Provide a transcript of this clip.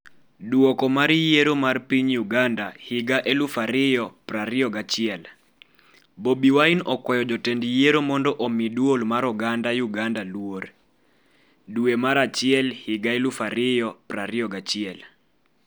Duoko mar yiero mar piny Uganda 2021: Bobi Wine okwayo jotend Yiero mondo omi dwol mar oganda Uganda luor, Duration 0.5514 dwe mar achiel higa 2021 0:34 Video